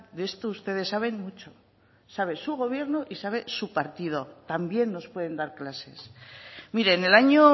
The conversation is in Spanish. de esto ustedes saben mucho sabe su gobierno y sabe su partido también nos pueden dar clases mire en el año